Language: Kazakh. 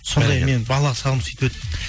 сондай менің балалық шағым сөйтіп өтті